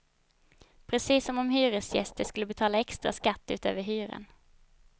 Precis som om hyresgäster skulle betala extra skatt utöver hyran.